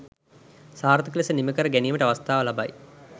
සාර්ථක ලෙස නිමකර ගැනීමට අවස්ථාව ලබයි.